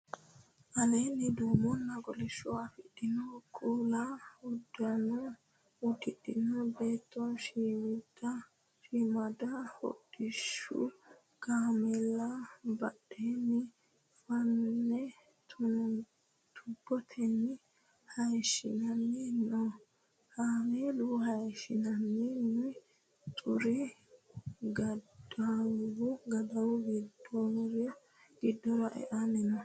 Aleenni duumenna kolishsho afidhinota kuula uddano uddirino beetti shiimidiha hodhishshu kaameela badhiido fane tuubotenni hayishshanni no. Kaamela hayishshinoonni xuri gaddawu giddora e'anni no.